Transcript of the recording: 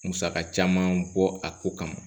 Musaka caman bɔ a ko kama